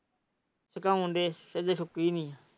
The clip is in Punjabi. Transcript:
ਉਹ ਆਉਂਣ ਡਯਾ ਅੱਜੇ ਸੋਤੀ ਨਹੀਂ।